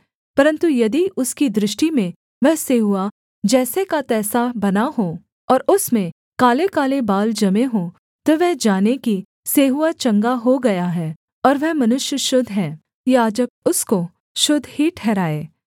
परन्तु यदि उसकी दृष्टि में वह सेंहुआ जैसे का तैसा बना हो और उसमें कालेकाले बाल जमे हों तो वह जाने की सेंहुआ चंगा हो गया है और वह मनुष्य शुद्ध है याजक उसको शुद्ध ही ठहराए